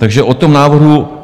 Takže o tom návrhu...